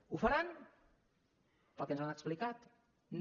ho faran pel que ens han explicat no